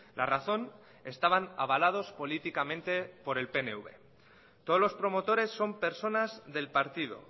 la razón estaban avalados políticamente por el pnv todos los promotores son personas del partido